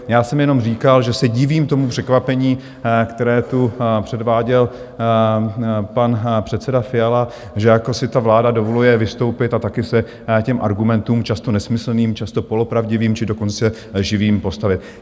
Já jsem jenom říkal, že se divím tomu překvapení, které tu předváděl pan předseda Fiala, že jako si ta vláda dovoluje vystoupit a taky se těm argumentům, často nesmyslným, často polopravdivým, či dokonce lživým, postavit.